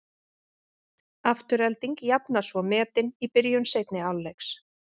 Afturelding jafnar svo metin í byrjun seinni hálfleiks.